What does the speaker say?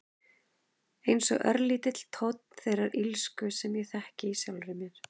Einsog örlítill tónn þeirrar illsku sem ég þekki í sjálfri mér.